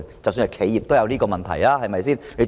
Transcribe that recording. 即使企業也有這個問題，對嗎？